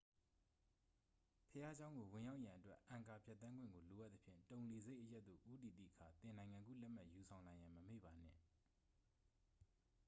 ဘုရားကျောင်းကို ဝင်ရောက်ရန်အတွက် အန်ကာ ဖြတ်သန်းခွင့်ကို လိုအပ်သဖြင့် တုန်လေဆပ်အရပ်သို့ ဦးတည်သည့်အခါ သင့်နိုင်ငံကူးလက်မှတ် ယူဆောင်လာရန် မမေ့ပါနှင့်